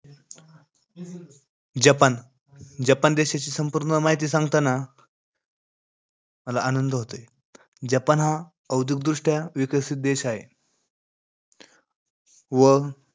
Japan. Japan देशाची संपूर्ण माहिती सांगताना मला आनंद होतोय. जपान हा औद्योगिकदृष्ट्या विकसित देश आहे. व,